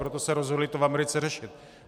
Proto se rozhodli to v Americe řešit.